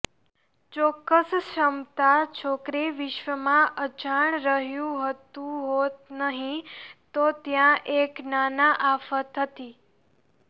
ચોક્કસ ક્ષમતા છોકરી વિશ્વમાં અજાણ રહ્યું હતું હોત નહીં તો ત્યાં એક નાના આફત હતી